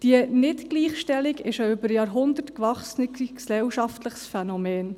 – Diese Nicht-Gleichstellung ist ein über Jahrhunderte gewachsenes, gesellschaftliches Phänomen.